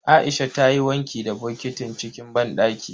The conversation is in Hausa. Aisha ta yi wanki da bokitin cikin banɗaki.